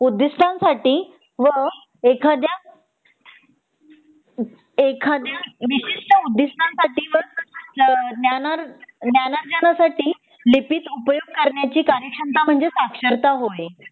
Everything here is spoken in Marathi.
उद्दिष्टांसाठी व एखाद्या विशिष्ट उद्दिष्टांसाठी व ज्ञाना ज्ञानार्जना साठी लिखित उपयोग करण्याची कार्यक्षमता म्हणजे साक्षरता होय